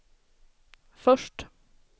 först